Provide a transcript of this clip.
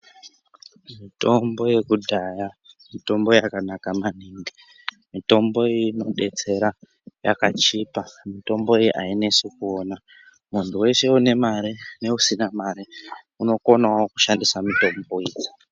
Mitombo yekudhaya mitombo yakanaka maningi, mitombo iyi inodetsera, yakachipa. Mitombo iyi ayinesi kuona. Muntu weshe une mare neusina mare unokonawo kushandisa mitombo iyi.